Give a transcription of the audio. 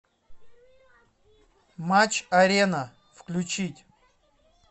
матч арена включить